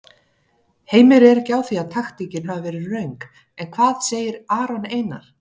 Heimir er ekki á því að taktíkin hafi verið röng en hvað segir Aron Einar?